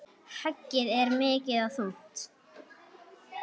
Höggið er mikið og þungt.